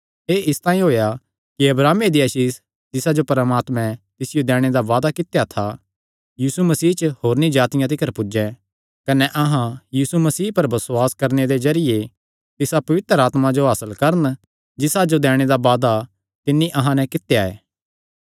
एह़ इसतांई होएया कि अब्राहमे दी आसीष जिसा जो परमात्मैं तिसियो दैणे दा वादा कित्या था यीशु मसीह च होरनी जातिआं तिकर पुज्जें कने अहां यीशु मसीह पर बसुआस करणे दे जरिये तिसा पवित्र आत्मा जो हासल करन जिसा जो दैणे दा वादा तिन्नी अहां नैं कित्या ऐ